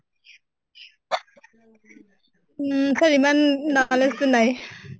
নিশ্চয়, ইমান knowledge তো নাই ।